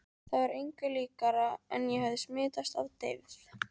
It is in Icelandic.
Það var engu líkara en ég hefði smitast af deyfð